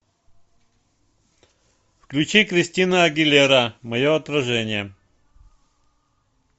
включи кристина агилера мое отражение